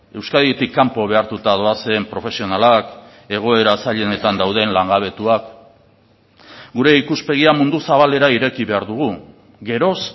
euskaditik kanpo behartuta doazen profesionalak egoera zailenetan dauden langabetuak gure ikuspegia mundu zabalera ireki behar dugu geroz